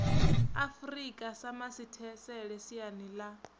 afurika sa masithesele siani ḽa